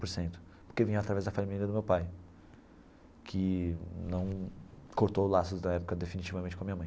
Por cento porque vinha através da família do meu pai, que não cortou o laço da época definitivamente com a minha mãe.